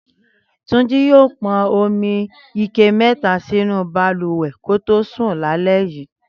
Túnjí yóò pọn omi ike mẹ́ta sínú balùwẹ̀ kò tó sùn lálẹ́ yìí